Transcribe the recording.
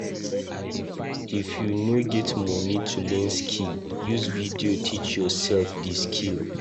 If you no get moni to learn skill, use video teach yoursef di skill.